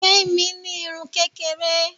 Gbemi ní irun kékeré.